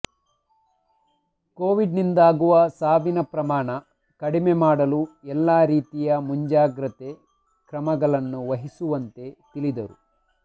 Covid ನಿಂದಾಗುವ ಸಾವಿನ ಪ್ರಮಾಣ ಕಡಿಮೆ ಮಾಡಲು ಎಲ್ಲಾ ರೀತಿಯ ಮುಂಜಾಗ್ರತೆ ಕಮಗಳನ್ನು ವಹಿಸುವಂತೆ ತಿಳಿದರು